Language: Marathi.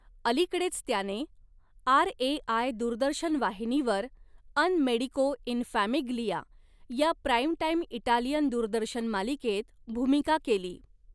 अलीकडेच त्याने आरएआय दूरदर्शन वाहिनीवर 'अन मेडिको इन फॅमिग्लिया' या प्राईम टाईम इटालियन दूरदर्शन मालिकेत भूमिका केली.